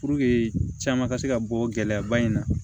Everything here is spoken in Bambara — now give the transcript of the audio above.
caman ka se ka bɔ gɛlɛyaba in na